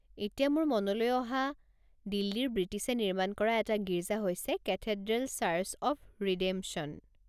এতিয়া মোৰ মনলৈ অহা দিল্লীৰ বৃটিছে নিৰ্মাণ কৰা এটা গীৰ্জা হৈছে কেথেড্ৰেল চাৰ্চ অৱ ৰিডেমশ্যন।